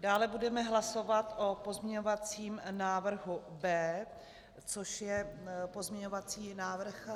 Dále budeme hlasovat o pozměňovacím návrhu B, což je pozměňovací návrh